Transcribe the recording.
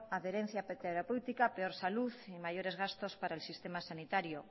adherencia terapéutica peor salud y mayores gastos para el sistema sanitario